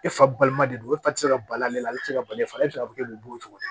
E fa balima de don e fa tɛ se ka bali ale la e tɛ se ka bali e faga e tɛ ka kɛ bogo ye cogo di